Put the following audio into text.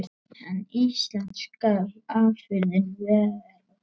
En íslensk skal afurðin vera.